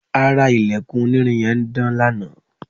ara ilẹ̀kùn onírin yẹn ń dán lanaa